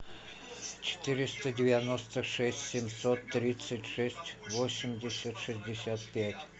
четыреста девяносто шесть семьсот тридцать шесть восемьдесят шестьдесят пять